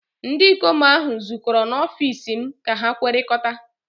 ndị ikom ahụ zukọrọ n'ọfịs m ka ha kwekọrịta